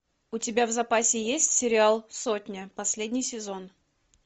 у тебя в запасе есть сериал сотня последний сезон